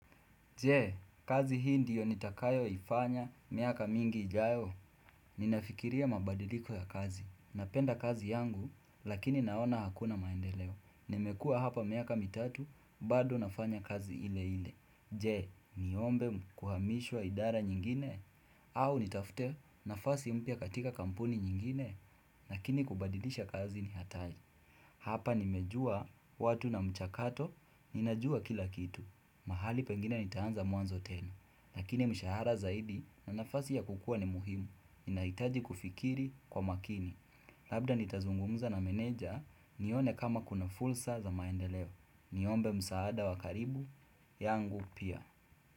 Je, kazi hii ndiyo nitakayoifanya miaka mingi ijayo. Ninafikiria mabadiliko ya kazi. Napenda kazi yangu, lakini naona hakuna maendeleo. Nimekua hapa miaka mitatu, bado nafanya kazi ile ile. Je, niombe kuhamishwa idara nyingine? Au nitafute nafasi mpya katika kampuni nyingine? Lakini kubadilisha kazi ni hatari. Hapa nimejua watu na mchakato, ninajua kila kitu. Mahali pengine nitaanza mwanzo tena Lakini mshahara zaidi na nafasi ya kukua ni muhimu Ninaitaji kufikiri kwa makini Labda nitazungumza na meneja nione kama kuna fursa za maendeleo Niombe msaada wa karibu yangu pia.